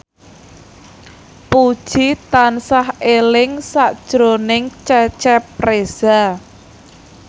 Puji tansah eling sakjroning Cecep Reza